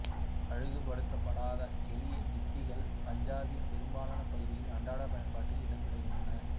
அழகுபடுத்தப்படாத எளிய ஜுத்திகள் பஞ்சாபின் பெரும்பாலான பகுதிகளில் அன்றாட பயன்பாட்டில் இடம் பெறுகின்றன